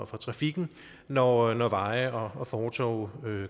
for trafikken når når veje og fortove